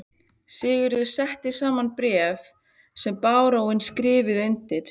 Sigurður setti saman bréf sem baróninn skrifaði undir.